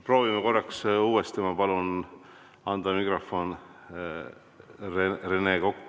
Proovime korraks uuesti!